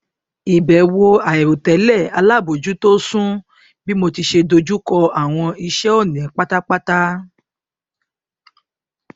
ìbẹwò àìrò tẹlẹ alábòójútó sún bí mo ṣe dojùkọ àwọn iṣẹ òní pátápátá